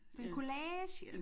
Sådan en collage